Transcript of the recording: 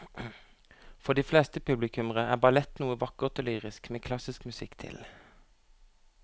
For de fleste publikummere er ballett noe vakkert og lyrisk med klassisk musikk til.